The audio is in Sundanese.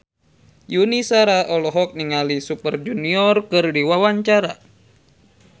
Yuni Shara olohok ningali Super Junior keur diwawancara